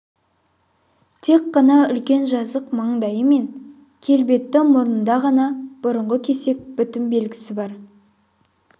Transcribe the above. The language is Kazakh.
тек қана үлкен жазық маңдайы мен келбетті мұрнында ғана бұрынғы кесек бітім белгісі бар